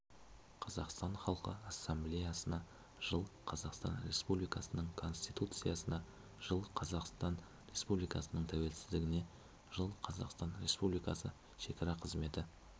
қазақстан халқы ассамблеясына жыл қазақстан республикасының конституциясына жыл қазақстан республикасының тәуелсіздігіне жыл қазақстан республикасы шекара қызметі